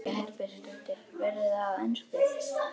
Guðný Helga Herbertsdóttir: Verður það á ensku?